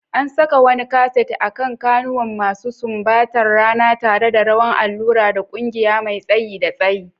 An saka wani kaset akan kawunan masu sumbantar rana, tare da rawan allura da ƙugiya mai tsayi da tsayi.